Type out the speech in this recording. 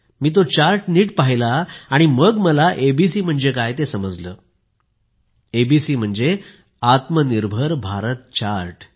मी तो चार्ट नीट पहिला आणि मग मला एबीसी म्हणजे काय ते समजले आत्मनिर्भर भारत चार्ट